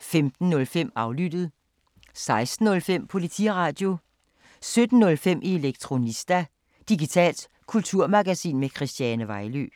15:05: Aflyttet 16:05: Politiradio 17:05: Elektronista – digitalt kulturmagasin med Christiane Vejlø